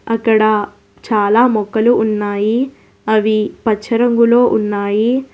అక్కడ చాలా మొక్కలు ఉన్నాయి అవి పచ్చ రంగులో ఉన్నాయి.